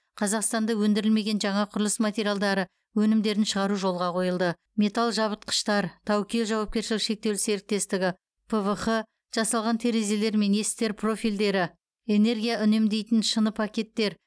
қазақстанда өндірілмеген жаңа құрылыс материалдары өнімдерін шығару жолға қойылды металл жабытқыштар таукел жауапкершілігі шектеулі серіктестігі пвх жасалған терезелер мен есіктер профильдері энергия үнемдейтін шыныпакеттер